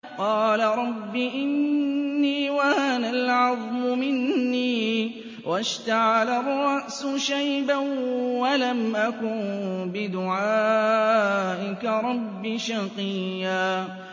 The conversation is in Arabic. قَالَ رَبِّ إِنِّي وَهَنَ الْعَظْمُ مِنِّي وَاشْتَعَلَ الرَّأْسُ شَيْبًا وَلَمْ أَكُن بِدُعَائِكَ رَبِّ شَقِيًّا